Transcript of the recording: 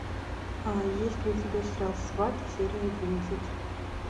есть ли у тебя сериал сваты серия одиннадцать